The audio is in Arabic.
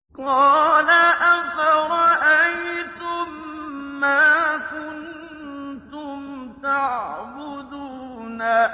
قَالَ أَفَرَأَيْتُم مَّا كُنتُمْ تَعْبُدُونَ